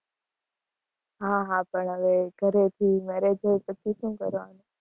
હા હા પણ હવે ઘરે થી marriage હોય પછી શું કરવાનું.